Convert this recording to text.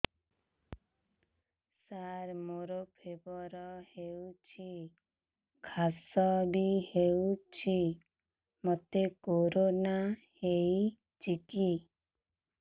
ସାର ମୋର ଫିବର ହଉଚି ଖାସ ବି ହଉଚି ମୋତେ କରୋନା ହେଇଚି କି